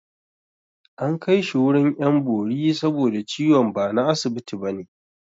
An kai shi wurin 'yan bori saboda ciwon ba na asibiti ba ne